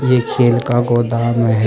ये खेल का गोदाम है।